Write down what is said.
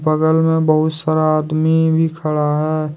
बगल में बहुत सारा आदमी भी खड़ा है।